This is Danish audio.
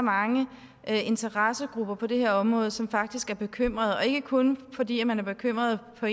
mange interessegrupper på det her område som faktisk er bekymrede og ikke kun fordi man er bekymret på